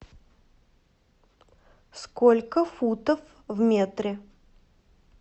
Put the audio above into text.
сколько футов в метре